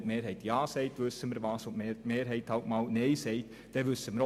Als nächstes spricht Grossrat Knutti, vermutlich als Mitmotionär.